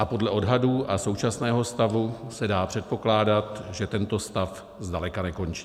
A podle odhadů a současného stavu se dá předpokládat, že tento stav zdaleka nekončí.